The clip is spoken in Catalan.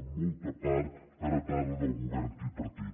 en molta part heretada del govern tripartit